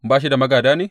Ba shi da magāda ne?